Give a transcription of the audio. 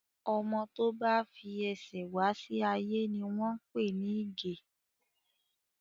Ọmọ tó bá fi ẹsẹ̀ wá sí ayé ni wọ́n pè ní ìgè